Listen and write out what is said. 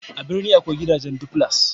a birni akwai gidajen duflas